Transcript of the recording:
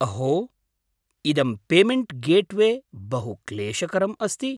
अहो, इदं payment gateway बहु क्लेशकरम् अस्ति।